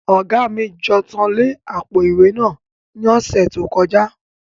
Oga mi jan ontẹ le apo-iwe naa ni ọsẹ to kọja.